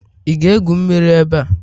Ị ga-egwu mmiri ebe a?